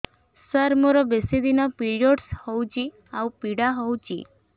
ସାର ମୋର ବେଶୀ ଦିନ ପିରୀଅଡ଼ସ ହଉଚି ଆଉ ପୀଡା ହଉଚି